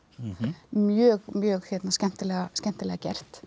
mjög mjög skemmtilega skemmtilega gert